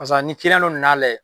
Pasa ni dɔ nan'a layɛ